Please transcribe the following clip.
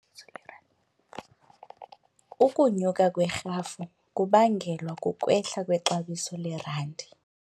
Ukunyuka kwerhafu kubangelwa kukwehla kwexabiso lerandi.